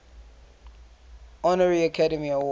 honorary academy award